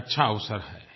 एक अच्छा अवसर है